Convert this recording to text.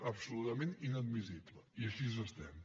absolutament inadmissible i així estem